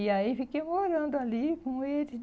E aí fiquei morando ali com ele.